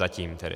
Zatím tedy.